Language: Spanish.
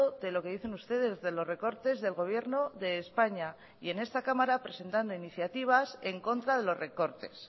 de lo que dicen ustedes de los recortes del gobierno de españa y en esta cámara presentando iniciativas en contra de los recortes